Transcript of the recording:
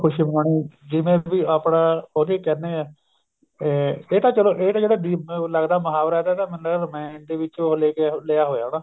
ਖੁਸ਼ੀ ਮਨਾਉਣੀ ਜਿਵੇਂ ਵੀ ਆਪਣਾ ਉਹਦੇ ਕਹਿਨੇ ਆ ਇਹ ਤਾਂ ਚਲੋ ਇਹ ਤਾਂ ਲੱਗਦਾ ਮੁਹਾਵਰਾ ਇਹਦਾ ਮੈਨੂੰ ਲੱਗਦਾ ਰਾਮਾਇਣ ਦੇ ਵਿੱਚ ਉਹ ਲੈ ਕੇ ਲਿਆ ਹੋਣਾ ਹਨਾ